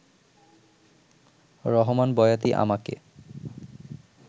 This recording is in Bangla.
রহমান বয়াতি আমাকে